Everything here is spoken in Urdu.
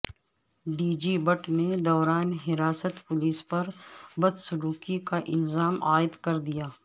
ڈی جی بٹ نے دوران حراست پولیس پر بدسلوکی کا الزا م عائد کردیا